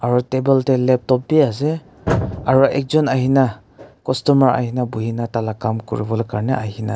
Aro table dae laptop bhi ase aro ekjun ahina customer ahina buhuina tala kam kure bole Karnae ahina as--